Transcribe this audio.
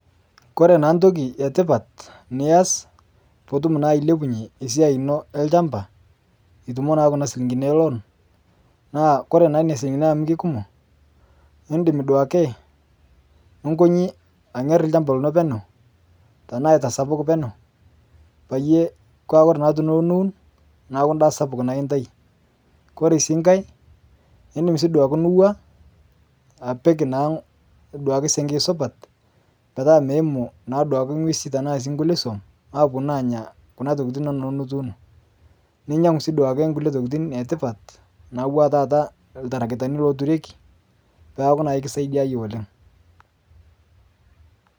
Kore naa ntoki etipat nias piitum naa ailepunye siai inoo elshampa itumoo naa Kuna silinkinii ee loan, naa kore naa nenia silinkini amu keikumoo indim duake nunkonyii anyer lshampa linoo peneu tanaa aitasapuk peneu payie koree naa peyie iloo niwun naaku ndaa naa sapuk naa intai kore sii ng'hai indim sii duake nuwaa apik naaduake senkei supat petaa meimuu naa duake ng'wezii tanaa sii nkulie suom aponuu anyaa Kuna tokitin inono nituuno ninyang'u sii duake nkulie tokitin etipat natuwaa taata ltaragitani loturiekii peaku naa kisaidiayie oleng'.